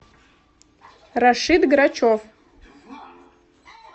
рашид грачев